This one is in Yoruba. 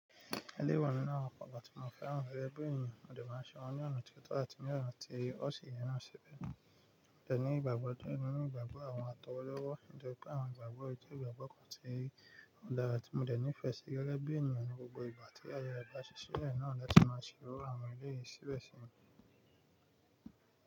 "Eleyii wa ninu awon nkàn tí mo fẹ́ràn rẹ̀ gẹ́gẹ́ bí ènìyàn, mò dẹ́ máa ṣe wọ́n ní ọ̀nà tó tọ́ àti ní ọ̀nà tí ó sì yẹ náà síbẹ̀. Mọ dẹ̀ ní ìgbàgbọ́ nínú ìgbàgbọ́ àwọn atọwọ́lọ́wọ́, ní jẹ pé àwọn ìgbàgbọ́ ijó ìgbàgbọ́ kan ti ń dára, tí mo dẹ̀ nífẹ̀ẹ́ sí gẹ́ gẹ́ bí ènìyàn ní gbogbo ìgbà tí ayẹyẹ ẹgbẹ́ àṣẹ sílé náà lọ sí máa ṣíwọ́ àwọn ilé yìí síbẹ̀ sí mi.”